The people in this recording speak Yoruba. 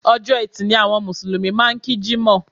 Ọjọ́ Ẹtì ni àwọn Mùsùlùmí máà ń kí Jímọ̀.